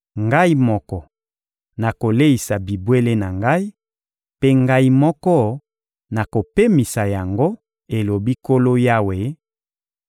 Ngai moko nakoleisa bibwele na Ngai, mpe Ngai moko nakopemisa yango, elobi Nkolo Yawe;